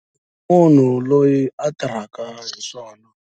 Munhu loyi a tirhaka hi swona.